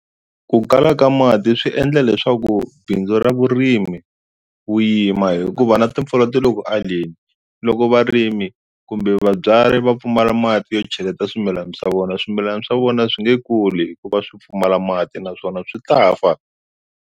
Ku kala ka mati swi endla leswaku bindzu ra vurimi wu yima hikuva na timpfula ti le ku aleni loko varimi kumbe vabyari va pfumala mati yo cheleta swimilana swa vona swimilana swa vona swi nge kuli hikuva swi pfumala mati naswona swi ta fa.